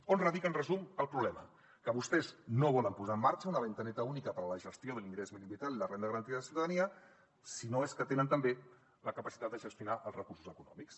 on radica en resum el problema que vostès no volen posar en marxa una finestreta única per a la gestió de l’ingrés mínim vital i la renda garantida de ciutadania si no és que tenen també la capacitat de gestionar els recursos econòmics